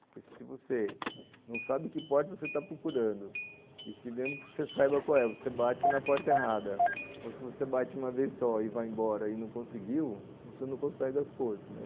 Porque se você não sabe que porta você está procurando, e se mesmo que você saiba qual é, você bate na porta errada, ou se você bate uma vez só e vai embora e não conseguiu, você não consegue as coisas, né